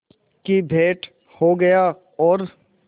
की भेंट हो गया और